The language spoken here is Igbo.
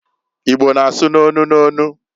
Igbo na-asụ n'onu n'onu.